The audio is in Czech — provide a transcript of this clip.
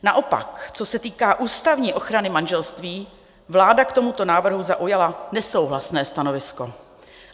Naopak co se týká ústavní ochrany manželství, vláda k tomuto návrhu zaujala nesouhlasné stanovisko.